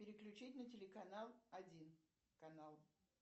переключить на телеканал один канал